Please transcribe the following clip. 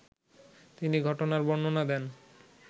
তিনি ঘটনার বর্ণনা দেন